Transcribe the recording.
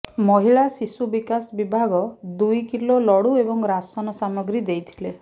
ମହିଳା ଶିଶୁ ବିକାଶ ବିଭାଗ ଦୁଇ କିଲୋ ଲଡୁ ଏବଂ ରାସନ ସାମଗ୍ରୀ ଦେଇଥିଲେ